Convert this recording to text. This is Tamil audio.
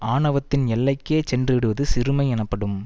ஆணவத்தின் எல்லைக்கே சென்று விடுவது சிறுமை எனப்படும்